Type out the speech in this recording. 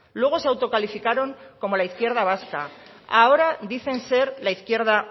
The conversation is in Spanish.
luego se autocalificaron como la izquierda vasca ahora dicen ser la izquierda